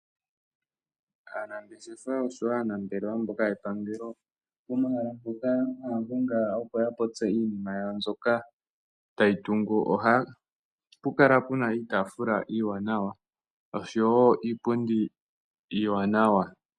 Aanangeshefa oshowo aanambelewa mboka yepangelo pomahala mpoka haya gongala, opo ya popye iinima yawo mbyoka tayi tungu ohapu kala iitafula oshowo iipundi iiwanawa.